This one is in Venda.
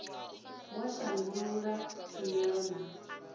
wa u shandula tshumela na